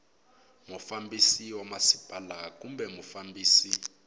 mufambisi wa masipala kumbe mufambisi